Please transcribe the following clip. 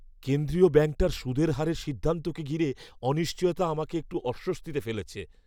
কেন্দ্রীয় ব্যাঙ্কটার সুদের হারের সিদ্ধান্তকে ঘিরে অনিশ্চয়তা আমাকে একটু অস্বস্তিতে ফেলেছে।